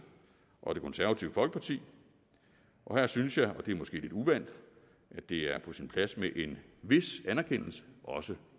og det konservative folkeparti her synes jeg og det er måske lidt uvant at det er på sin plads med en vis anerkendelse også